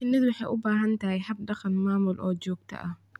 Shinnidu waxay u baahan tahay hab-dhaqan maamul oo joogto ah.